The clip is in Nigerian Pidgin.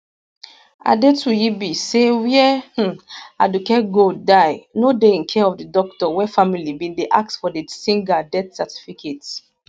adetuyibi say wia um aduke gold die no dey in care of di doctor wey family bin dey ask for di singer death certificate